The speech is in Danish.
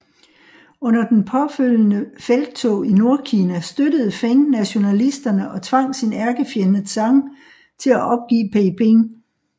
Under den påfølgende felttog i Nordkina støttede Feng nationalisterne og tvang sin ærkefjende Zhang til at opgive Peiping